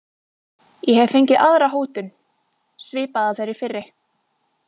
Ég hef fengið aðra hótun, svipaða þeirri fyrri.